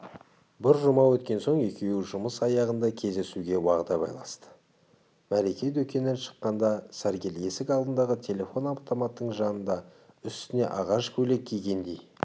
бір жұма өткен соң екеуі жұмыс аяғында кездесуге уағда байласты мәлике дүкеннен шыққанда сәргел есік алдындағы телефон-автоматтың жанында үстіне ағаш көйлек кигендей